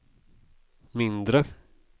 mindre